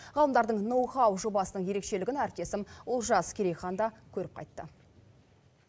ғалымдардың ноу хау жобасының ерекшелігін әріптесім олжас керейхан да көріп қайтты